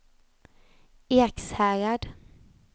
Ekshärad